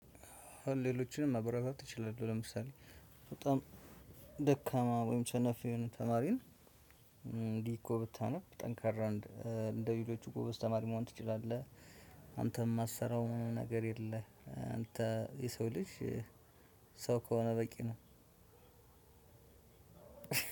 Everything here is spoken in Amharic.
ሌሎችንም ማብራራት እችላለህ ለምሳሌ በጣም ደካማ ወይም ሰነፍ የሆነ ተማሪን እንዲህ እኮ ብታነብ ጠንካራ እንደ ሌሎች ጎበዝ ተማሪ መሆን ትችላለህ። አንተ የማትሰራው ምንም ነገር የለም። አንተ የሰው ልጅ ሰው ከሆነ በቂ ነው።